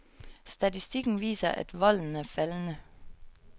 Statistikken viser, at volden er faldende.